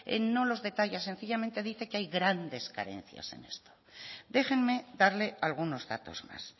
no los detalla sencillamente dice que hay grandes carencias en esto déjenme darle algunos datos más